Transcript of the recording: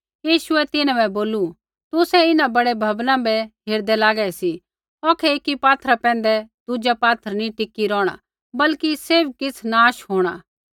यीशुऐ तिन्हां बै बोलू तुसै इन्हां बड़ै भवना बै हेरदै लागै सी औखै एकी पात्थरै पैंधै दुज़ा पात्थर नी टिकी रौहणा बल्कि सैभ किछ़ नाश होंणा